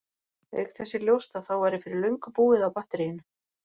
Auk þess er ljóst að þá væri fyrir löngu búið á batteríinu!